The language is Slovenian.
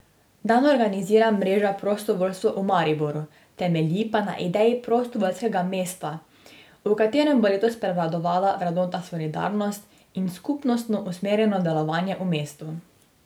Dan organizira mreža Prostovoljstvo v Mariboru, temelji pa na ideji Prostovoljskega mesta, v katerem bo letos prevladovala vrednota solidarnost in skupnostno usmerjeno delovanje v mestu.